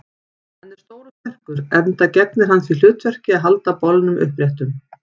Hann er stór og sterkur, enda gegnir hann því hlutverki að halda bolnum uppréttum.